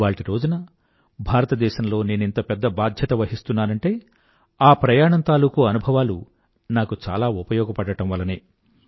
ఇవాళ్టిరోజున భారతదేశంలో నేనింత పెద్ద బాధ్యత వహిస్తున్నానంటే ఆ ప్రయాణం తాలూకూ అనుభవాలు నాకు చాలా ఉపయోగపడటం వల్లనే